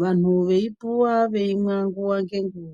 vanhu veipuwa veimwa nguwa nenguwa.